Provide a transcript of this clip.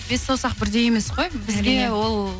бес саусақ бірдей емес қой бізге ол